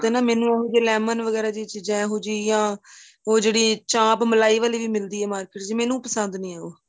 ਉਥੇ ਨਾ ਮੈਨੂੰ lemon ਵਗੇਰਾ ਦੀਆਂ ਚੀਜਾਂ ਏਹੋ ਜੀਆਂ ਉਹ ਜਿਹੜੀ ਚਾਂਪ ਮਲਾਈ ਵਾਲੀ ਮਿਲਦੀ ਏ market ਚ ਮੈਨੂੰ ਪਸੰਦ ਨਹੀਂ ਏ ਉਹ